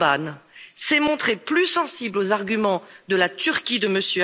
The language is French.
Orbán, s'est montré plus sensible aux arguments de la Turquie de M.